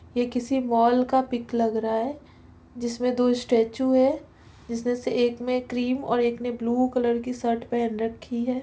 ये किसी मॉल का पिक लग रहा है जिसमे दो स्टेच्यू है जिसमे से एक में क्रीम और एक ने ब्लू कलर की शर्ट पेहन रखी है।